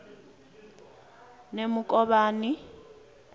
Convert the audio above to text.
nemukovhani